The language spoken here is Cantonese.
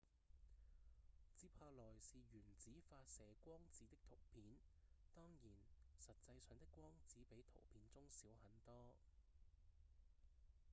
接下來是原子發射光子的圖片當然實際上的光子比圖片中小很多